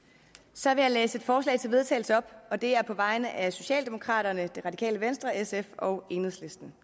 så vil jeg læse et forslag til vedtagelse op og det er på vegne af socialdemokraterne det radikale venstre sf og enhedslisten